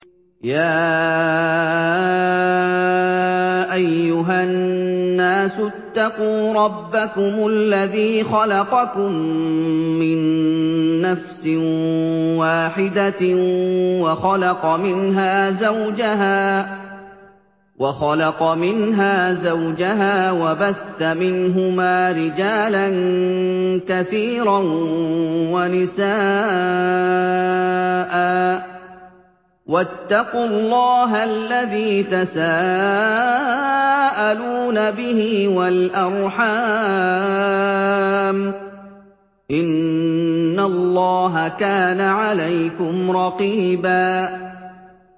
يَا أَيُّهَا النَّاسُ اتَّقُوا رَبَّكُمُ الَّذِي خَلَقَكُم مِّن نَّفْسٍ وَاحِدَةٍ وَخَلَقَ مِنْهَا زَوْجَهَا وَبَثَّ مِنْهُمَا رِجَالًا كَثِيرًا وَنِسَاءً ۚ وَاتَّقُوا اللَّهَ الَّذِي تَسَاءَلُونَ بِهِ وَالْأَرْحَامَ ۚ إِنَّ اللَّهَ كَانَ عَلَيْكُمْ رَقِيبًا